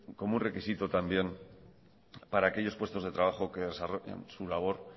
como un requisito también para aquellos puestos de trabajo que desarrollan su labor